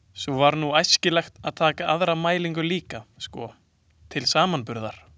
Svo væri nú æskilegt að taka aðra mælingu líka sko, til samanburðar.